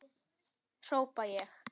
hrópa ég.